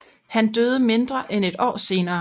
Han døde mindre end et år senere